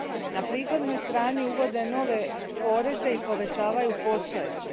Na prihodnoj strani uvode nove poreze i povećavaju postojeće.